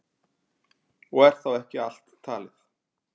Og er þá ekki allt talið.